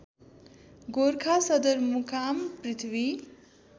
गोरखा सदरमुकाम पृथ्वी